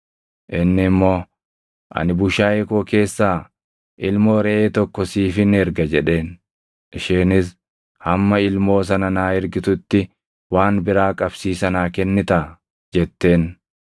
Inni immoo, “Ani bushaayee koo keessaa ilmoo reʼee tokko siifin erga” jedheen. Isheenis, “Hamma ilmoo sana naa ergitutti waan biraa qabsiisa naa kennitaa?” jetteen.